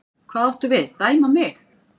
Hvað áttu við, dæma mig?